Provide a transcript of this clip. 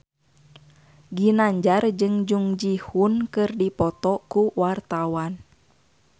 Ginanjar jeung Jung Ji Hoon keur dipoto ku wartawan